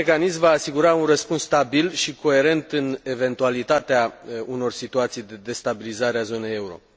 Viitorul mecanism va asigura un răspuns stabil și coerent în eventualitatea unor situații de destabilizare a zonei euro.